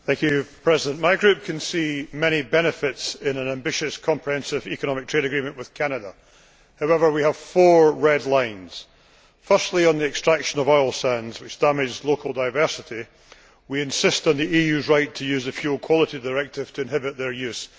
Madam President, my group can see many benefits in an ambitious, comprehensive, economic trade agreement with Canada. However, we have four red lines. Firstly, on the extraction of oil sands, which damages local diversity, we insist on the EU's right to use the Fuel Quality Directive to inhibit their use.